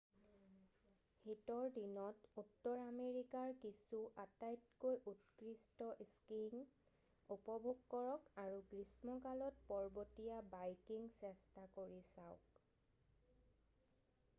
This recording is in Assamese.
শীতৰ দিনত উত্তৰ আমেৰিকাৰ কিছু আটাইতকৈ উৎকৃষ্ট স্কীইং উপভোগ কৰক আৰু গ্ৰীষ্মকালত পৰ্বতীয়া বাইকিং চেষ্টা কৰি চাওক